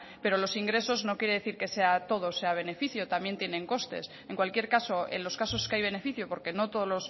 pero los ingresos no quiere decir que todo sea beneficio también tienen costes en cualquier caso en los caso que hay beneficio porque no todos